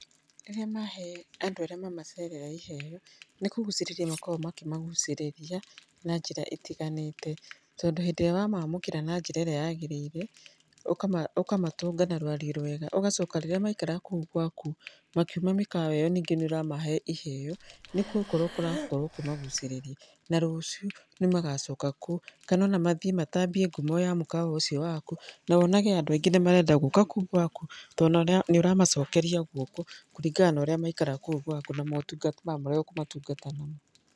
Rĩrĩa mahe andũ arĩa mamaceragĩra iheo nĩ kũgucĩrĩria makoragwo makĩmagucĩrĩria na njĩra ĩtiganĩte. Tondũ hĩndĩ ĩrĩa wamamũkĩra na njĩra ĩrĩa yagĩrĩire ũkamatũnga na rũario rwega. Ũgacoka rĩrĩa maraikara kũu gwaku makiuma mĩkawa ĩyo ningĩ nĩ ũramahe iheo, nĩ gũkorwo ũrakorwo ũkũmagucĩrĩria . Na rũciũ nĩ magacoka kũu kana ona mathiĩ matambia ngumo ya mũkawa ũcio waku, na wonage andũ aingĩ nĩ marenda gũkaga kũu gwaku tondũ nĩ ũramacokeria guoko, kũringana na ũrĩa maikara kũu gwaku na motungata marĩa ũkũmatungata namo.